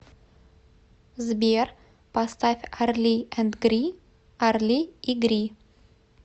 сбер поставь арли энд гри арли и гри